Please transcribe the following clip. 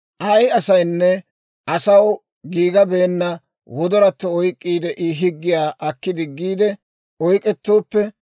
«Ay asaynne asaw giigabeenna wodoratto oyk'k'iide, I higgiyaa akki diggiide oyk'k'etooppe,